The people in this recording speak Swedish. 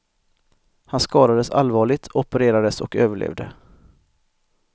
Han skadades allvarligt, opererades och överlevde.